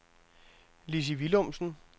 Lissy Willumsen